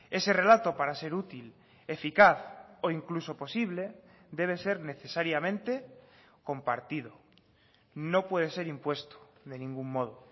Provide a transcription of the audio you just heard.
ese relato para ser útil eficaz o incluso posible debe ser necesariamente compartido no puede ser impuesto de ningún modo